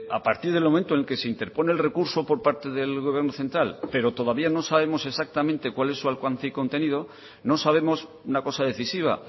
a partir del momento que se interpone el recurso por parte del gobierno central pero todavía no sabemos exactamente cuál es su alcance y contenido no sabemos una cosa decisiva